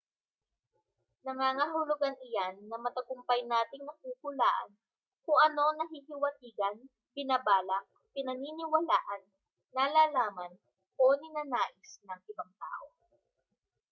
nangangahulugan iyan na matagumpay nating nahuhulaan kung ano ang nahihiwatigan binabalak pinaniniwalaan nalalaman o ninanais ng ibang tao